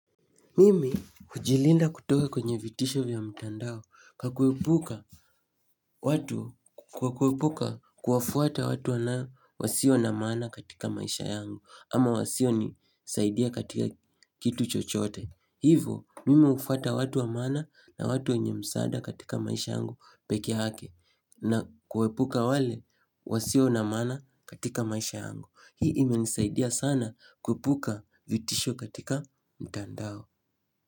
Mimi hujilinda kutoka kwenye vitisho vya mtandao kwa kuepuka kwa kuepuka kuwafuata watu wanaya wasio na maana katika maisha yangu ama wasio nisaidia katika kitu chochote. Hivo mimi ufata watu wa maana na watu wenye msaada katika maisha yangu pekeyake na kuepuka wale wasio na maana katika maisha yangu. Hii imenisaidia sana kuepuka vitisho katika mtandao.